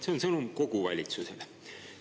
See on sõnum kogu valitsusele.